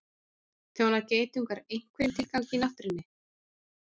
þjóna geitungar einhverjum tilgangi í náttúrunni